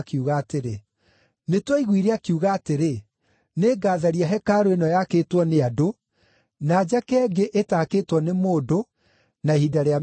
“Nĩtwaiguire akiuga atĩrĩ, ‘Nĩngatharia hekarũ ĩno yakĩtwo nĩ andũ, na njake ĩngĩ ĩtakĩtwo nĩ mũndũ na ihinda rĩa mĩthenya ĩtatũ.’ ”